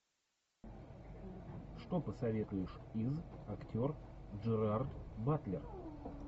что посоветуешь из актер джерард батлер